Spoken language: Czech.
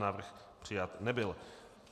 Návrh přijat nebyl.